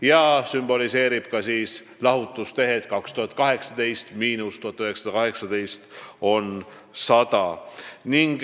Ka sümboliseerib see lahutustehet: 2018 miinus 1918 on 100.